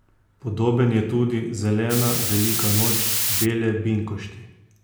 Podoben je tudi Zelena velika noč, bele binkošti.